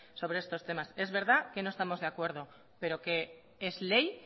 sobre estos temas es verdad que no estamos de acuerdo pero que es ley